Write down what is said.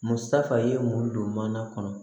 Musafa ye mun don mana kɔnɔ